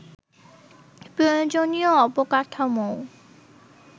প্রয়োজনীয় অবকাঠামোও